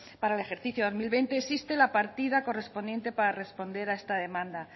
para el ejercicio dos mil veinte existe la partida correspondiente para responder a esta demanda